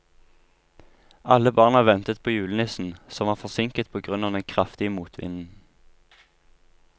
Alle barna ventet på julenissen, som var forsinket på grunn av den kraftige motvinden.